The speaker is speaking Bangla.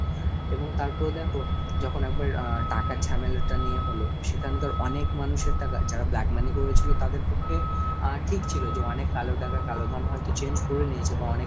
এবং তারপরে দেখো যখন একবার টাকার ঝামেলাটা নিয়ে হল, সেখানকার অনেক মানুষের টাকা যারা black money করেছিল তাদের পক্ষে আহ ঠিক ছিল যে অনেক কালো টাকা কালো ধন হয়তো change করে নিয়েছে বা অনেক